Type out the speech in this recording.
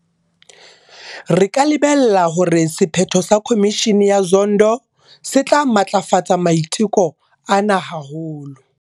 Re ka lebella hore sephetho sa Khomishene ya Zondo se tla matlafatsa maiteko ana haholo.